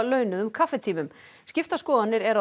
launaða kaffitíma skiptar skoðanir eru